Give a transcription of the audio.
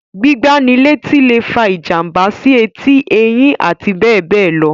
Gbígbá ni létí lè fa ìjàmbá sí etí, eyín, abbl.